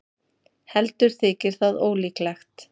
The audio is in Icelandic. heldur þykir það ólíklegt